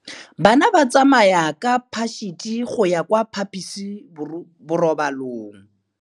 Bana ba tsamaya ka phašitshe go ya kwa phaposiborobalong.